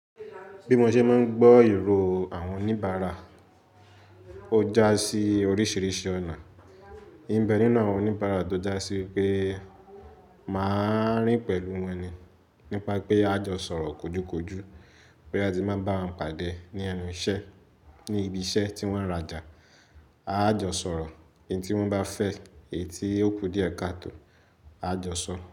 Bí mo ṣe máa ń gbọ́ èrò àwọn oníbàárà, ó já sí oríṣìíríṣìí ọ̀nà. Nbe ninu àwọn oníbàárà tó já sí pé máà rìn pẹ̀lú wọn ni. Nípa pé a jọ sọ̀rọ̀ kojúkojú, boya ti n bá wọn pàdé ní ẹnu iṣẹ́, ní ibi iṣẹ́ tí wọ́n ń rajà, a jọ sọ̀rọ̀. In tí wọ́n bá fẹ́, èyí tí ó kù díẹ̀ katọ̀, a jọ sọ.